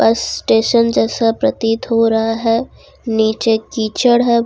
Station जैसा प्रतीत हो रहा है नीचे कीचड़ है।